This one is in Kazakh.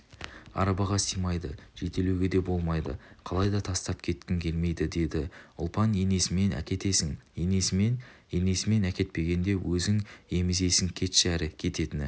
арбаға сыймайды жетелеуге де болмайды қалайда тастап кеткім келмейді деді ұлпан енесімен әкетесің енесімен енесімен әкетпегенде өзің еміземісің кетші әрі кететіні